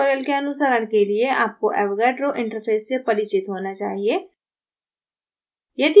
इस tutorial के अनुसरण के लिए आपको avogadro interface से परिचित होना चाहिए